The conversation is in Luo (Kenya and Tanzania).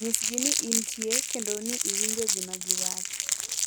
Nyisgi ni intie kendo ni iwinjo gima giwacho.